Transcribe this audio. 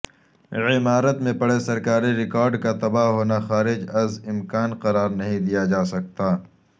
عمارت میں پڑے سرکاری ریکارڈ کا تباہ ہونا خارج از امکان قرار نہیں دیا جاسکتا